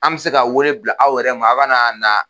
An bɛ se ka wele bila aw yɛrɛ ma aw kɛ na na